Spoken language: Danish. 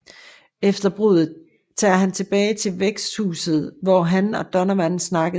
Efter bruddet tager han tilbage til værtshuset hvor han og Donovan snakkede